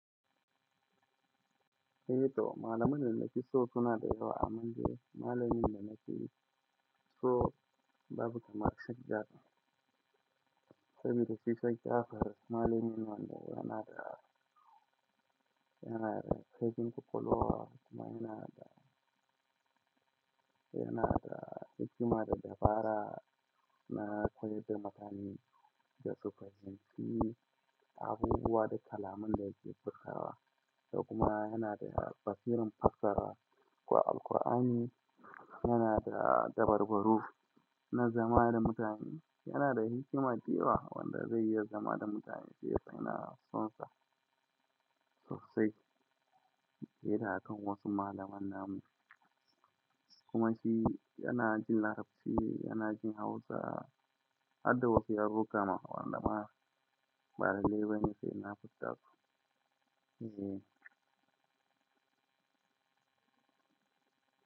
Eh to malaman da fiso suna da yawa amma dai malamin na sani so babu kamar sheikh ja'afar. Saboda shi sai ka kafa, malamin wanda yana da, yana da fegin kokolowa kuma yana da, yana da hikima da dabara na koyar da mutane da su fahimci abubuwa da kalaman da yake furtawa. Da kuma yana da basiran fassara wa Alkur'ani, yana da dabarbaru na zama da mutane, yana da hikima dayawa wanda zai iya zama da mutane. Sai yace yana sonsa sosai hira akan wasu malaman namu. Kuma shi yana jin Larabci, yana jin Hausa har da wasu yarurruka ma wanda ma ba lallai bane sai na furta su. Zee.